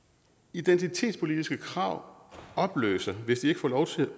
identitetspolitiske krav opløser hvis de får lov til